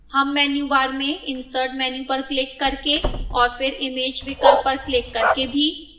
हम menu bar में insert menu पर क्लिक करके और फिर image विकल्प पर क्लिक करके भी